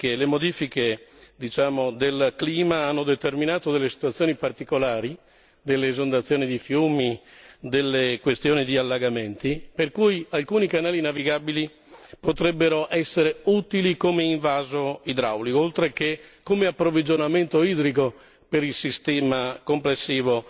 Le modifiche, diciamo, del clima, hanno determinato situazioni particolari, esondazioni di fiumi, questioni di allagamenti, per cui alcuni canali navigabili potrebbero essere utili come invaso idraulico, oltre che come approvvigionamento idrico per il sistema complessivo